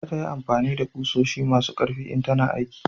za ta yi amfani da ƙusoshi masu karfi in tana aiki